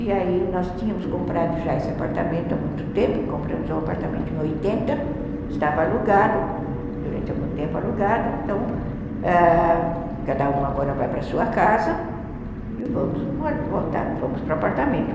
E aí nós tínhamos comprado já esse apartamento há muito tempo, compramos o apartamento em oitenta, estava alugado, durante algum tempo alugado, então cada um agora vai para a sua casa e vamos voltar, vamos para o apartamento.